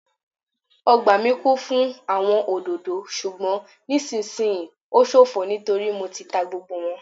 Ọgbà mi kún fún àwọn òdòdó ṣùgbọn nisisiyi o ṣofo nítorí Mo ti ta gbogbo wọn